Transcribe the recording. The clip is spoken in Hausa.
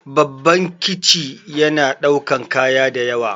Babban kici yana ɗaukan kaya dayawa